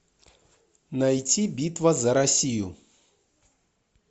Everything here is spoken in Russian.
найти битва за россию